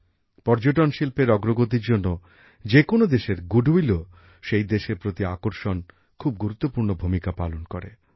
পর্যটন শিল্পের অগ্রগতির জন্য যেকোনো দেশের ব্যবসায়ে সুনাম ও সেই দেশের প্রতি আকর্ষণ খুব গুরুত্বপূর্ণ ভূমিকা পালন করে